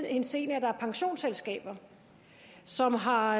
henseende at der er pensionsselskaber som har